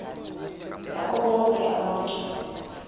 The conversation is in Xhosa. ngabo bonke abantu